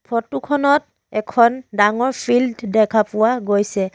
Photo খনত এখন ডাঙৰ ফিল্ড দেখা পোৱা গৈছে।